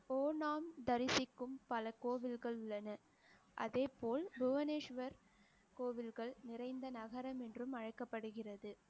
தரிசிக்கும் பல கோவில்கள் உள்ளன. அதே போல் புவனேஷ்வர் கோவில்கள் நிறைந்த நகரம் என்றும் அழைக்கப்படுகிறது